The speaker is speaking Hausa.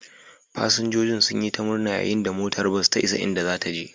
Fasinjojin sun yi ta murna yayin da motar bas ta isa inda zata je